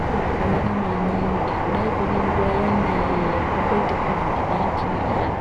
zviro zvakanaka maningi kudaiko ngenguva iyani yakamboite kovidhi naitini iyani